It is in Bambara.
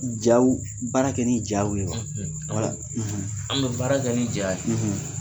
Jaw baara kɛ ni jaw ye wa an bɛ baara kɛ ni ja ye.